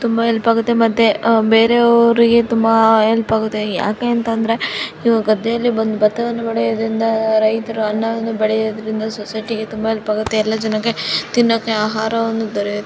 ತುಮಬಾ help ಆಗುತೆ ಬೇರಯವರಿಗೆ help ಆಗುತೆ ಯಾಕೆಂದರೆ ಇವರು ಗದ್ದೆಯಲ್ಲಿ ಬಂದು ಬಟ್ಟೆಯನ್ನು ಬೆಳೆಯುವುದರಿಂದ ರೈತರು ಅನ್ನ ವನ್ನು ಬೆಳೆಯೋದರಿಂದ ಸೊಸೈಟಿಗೆ ತುಂಬ ಹೆಲ್ಪ್ ಆಗುತ್ತೆ ಎಲ್ಲ ಜನಕ್ಕೆ ತಿಣೋಕ್ಕೆ ಆಹಾರ ಸಿಗುತ್ತೆ.